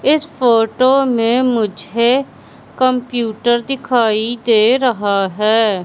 इस फोटो में मुझे कंप्यूटर दिखाई दे रहा है।